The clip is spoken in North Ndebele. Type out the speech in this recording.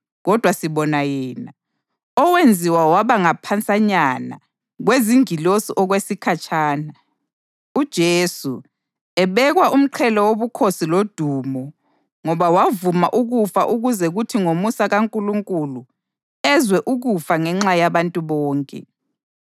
Kodwa sibona yena, owenziwa waba ngaphansanyana kwezingilosi okwesikhatshana, uJesu, ebekwa umqhele wobukhosi lodumo ngoba wavuma ukufa ukuze kuthi ngomusa kaNkulunkulu ezwe ukufa ngenxa yabantu bonke.